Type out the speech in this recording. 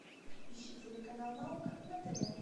ищи телеканал наука на тв